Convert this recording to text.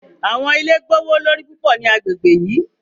Awọn ile gbowolori pupọ ni agbegbe yii